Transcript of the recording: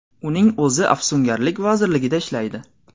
Uning o‘zi afsungarlik vazirligida ishlaydi.